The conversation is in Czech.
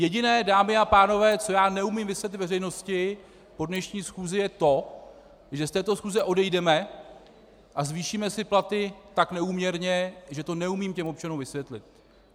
Jediné, dámy a pánové, co já neumím vysvětlit veřejnosti po dnešní schůzi, je to, že z této schůze odejdeme a zvýšíme si platy tak neúměrně, že to neumím těm občanům vysvětit.